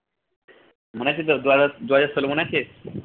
মনে আছে তো দু হাজার দুহাজার ষোল মনে আছে?